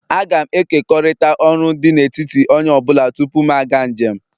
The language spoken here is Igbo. Agam ekekọrịta ọrụ dị n'etiti onye ọ bụla tupu m aga njem